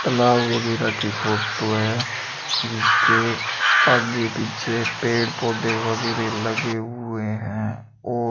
तालाब वगैरा की फोटो है जिसकी आगे पीछे पेड़ पौधे वगैरे लगे हुए हैं और --